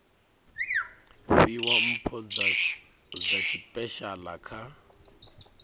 fhiwa mpho dza tshipeshala kha